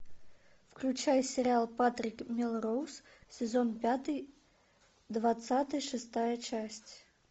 включай сериал патрик мелроуз сезон пятый двадцатый шестая часть